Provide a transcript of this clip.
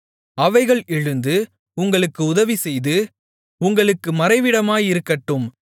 அவைகள் எழுந்து உங்களுக்கு உதவிசெய்து உங்களுக்கு மறைவிடமாயிருக்கட்டும்